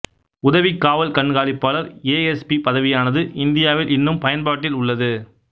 உதவிக் காவல் கண்காணிப்பாளர் ஏ எஸ் பி பதவியானது இந்தியாவில் இன்னும் பயன்பாட்டில் உள்ளது